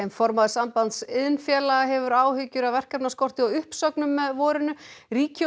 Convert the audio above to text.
formaður Sambands iðnfélaga hefur áhyggjur af verkefnaskorti og uppsögnum með vorinu ríki og